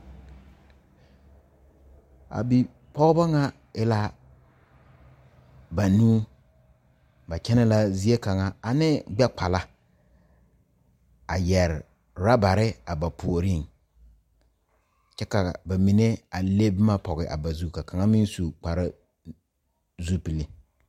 A bipɔgeba ŋa e la banuu ba kyɛnɛ la zie kaŋa a ne gbɛkpala a yɛre orɔbare ba puoriŋ kyɛ ka ba mine a le boma pɔge a ba zu ka kaŋa meŋ su kparezupile.